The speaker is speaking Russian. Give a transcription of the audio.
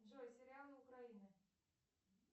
джой сериалы украины